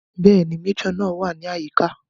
Bẹ́ẹ̀ni, Méjọ̀ náà wà ní àyíká